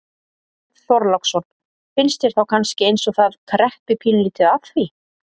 Björn Þorláksson: Finnst þér þá kannski eins og að það kreppi pínulítið að því?